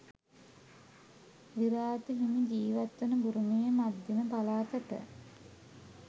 විරාතු හිමි ජීවත් වන බුරුමයේ මධ්‍යම පළාතට